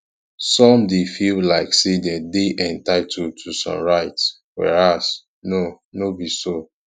some de feel like say dem dey entitled to some rites whereas no no be so